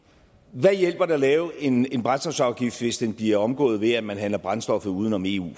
hvad hjælper det at lave en en brændstofsafgift hvis den bliver omgået ved at man handler brændstoffet uden om eu